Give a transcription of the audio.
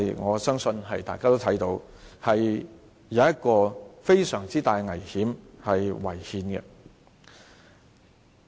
我相信大家也看到，這做法有非常大的危險，並且是違憲的。